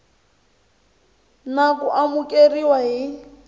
idp na ku amukeriwa hi